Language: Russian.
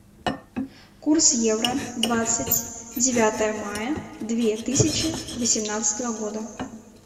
курс евро двадцать девятое мая две тысячи восемнадцатого года